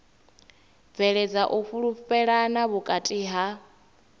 bveledza u fhulufhelana vhukati ha